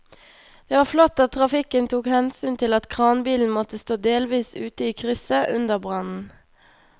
Det var flott at trafikken tok hensyn til at kranbilen måtte stå delvis ute i krysset under brannen.